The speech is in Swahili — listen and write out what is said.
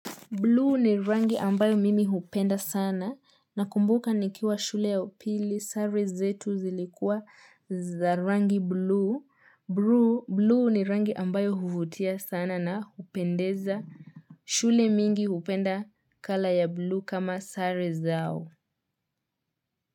Blue ni rangi ambayo mimi hupenda sana nakumbuka nikiwa shule ya upili, sare zetu zilikua za rangi blue. Blue ni rangi ambayo huvutia sana na hupendeza. Shule mingi hupenda colour ya blue kama sare zao.